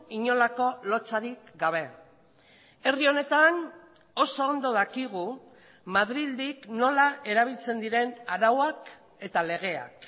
inolako lotsarik gabe herri honetan oso ondo dakigu madrildik nola erabiltzen diren arauak eta legeak